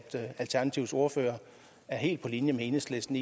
alternativets ordfører er helt på linje med enhedslisten